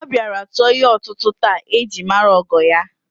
O bịara tụọ ihe ọtụtụ taa e ji mara ogo ya